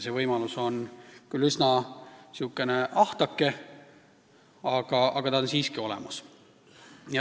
See võimalus on küll üsna ahtake, aga ta on siiski olemas.